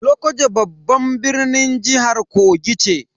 Lokoja babban birnin jihar Kogi ce.